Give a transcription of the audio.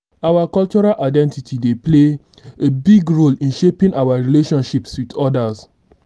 our cultural identity dey play a big role in shaping our relationships with odas.